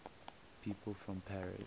people from paris